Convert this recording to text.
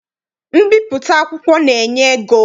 Mbipụta akwụkwọ na-enye ego.